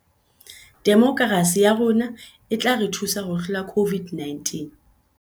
Demokerasi ya rona e tla re thusa ho hlola COVID -19